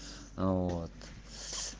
вот